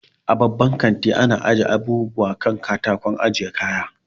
A babban kanti ana ajiye abubuwa kan katakon ajiye kaya